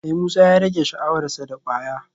Eh Musa ya rage sha'awar sa da kwaya